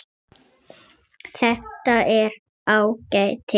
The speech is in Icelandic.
Þetta er ágætis grein.